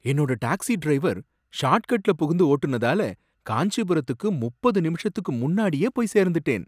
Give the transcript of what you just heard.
என்னோட taxi driver short கட்ல புகுந்து ஓட்டுனதால காஞ்சிபுரத்துக்கு முப்பது நிமிஷத்துக்கு முன்னாடியே போய் சேர்ந்துட்டேன்